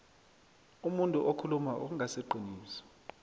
umuntu okhuluma okungasiqiniso